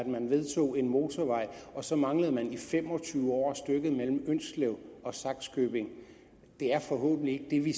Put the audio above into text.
man vedtog en motorvej og så manglede der i fem og tyve år stykket mellem ynslev og sakskøbing det er forhåbentlig ikke det vi